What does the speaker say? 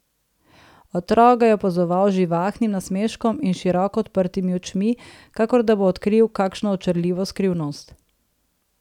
Otrok ga je opazoval z živahnim nasmeškom in s široko odprtimi očmi, kakor da bo odkril kakšno očarljivo skrivnost.